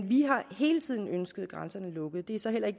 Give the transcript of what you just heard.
vi har hele tiden ønsket grænserne lukket